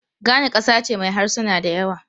Ghana kasa ce mai harsuna da yawa.